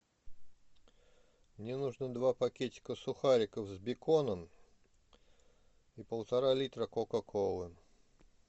мне нужно два пакетика сухариков с беконом и полтора литра кока колы